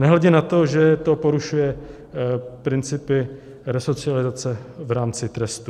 Nehledě na to, že to porušuje principy resocializace v rámci trestu.